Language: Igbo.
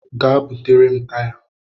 Gaa butere m taya.